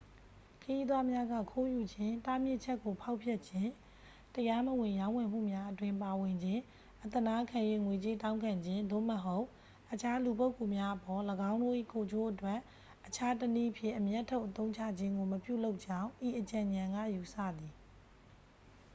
ခရီးသွားများက ခိုးယူခြင်း တားမြစ်ချက်ကို ဖောက်ဖျက်ခြင်း တရားမဝင်ရောင်းဝယ်မှုအတွင်း ပါဝင်ခြင်း အသနားခံ၍ ငွေကြေးတောင်းခံခြင်း သို့မဟုတ် အခြားလူပုဂ္ဂိုလ်များအပေါ် ၎င်းတို့၏ ကိုယ်ကျိုးအတွက် အခြားတစ်နည်းဖြင့် အမြတ်ထုတ်အသုံးချခြင်းကို မပြုလုပ်ကြောင်း ဤအကြံဉာဏ်က ယူဆသည်